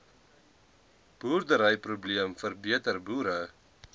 boerderyprobleem verbeter boere